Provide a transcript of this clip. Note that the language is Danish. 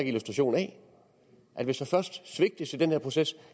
illustration af hvis der først svigtes i den her proces